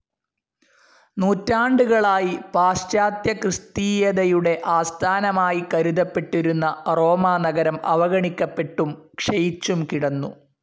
നൂറ്റാണ്ടുകളായി പാശ്ചാത്യക്രിസ്തീയതയുടെ ആസ്ഥാനമായി കരുതപ്പെട്ടിരുന്ന റോമാനഗരം അവഗണിക്കപ്പെട്ടും ക്ഷയിച്ചും കിടന്നു.